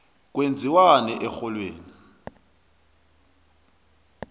kwenziwani erholweni